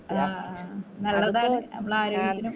ആ ആ നല്ലതാണ് മ്മളെ ആരോഗ്യത്തിനും